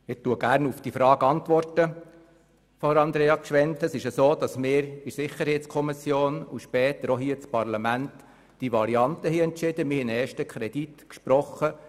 Wir haben einer bestimmten Variante für das UMA-Geschäft in der Sicherheitskommission und später auch hier im Parlament zugestimmt und einen ersten Kredit gesprochen.